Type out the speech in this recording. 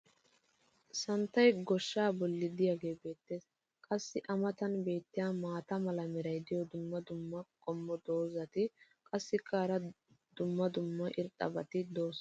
Santtay goshshaa boli diyaagee beetees. qassi a matan beetiya maata mala meray diyo dumma dumma qommo dozzati qassikka hara dumma dumma irxxabati doosona.